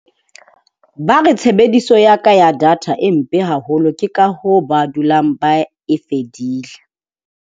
Ba re tshebediso ya ka ya data e mpe haholo ke ka hoo ba dulang ba e fedile.